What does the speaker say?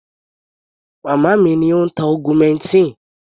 Màmá mi ni ó ń tá augmentin.